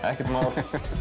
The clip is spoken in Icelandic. ekkert mál